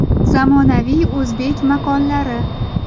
Zamonaviy o‘zbek maqollari.